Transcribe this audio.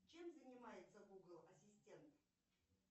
чем занимается гугл ассистент